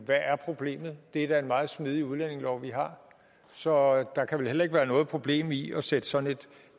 hvad er problemet det er da en meget smidig udlændingelov vi har så der kan vel heller ikke være noget problem i at sætte sådan et